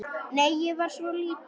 Nei, ég var svo lítil.